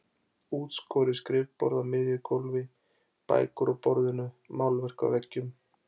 Útskorið skrifborð á miðju gólfi, bækur á borðinu, málverk á veggjum.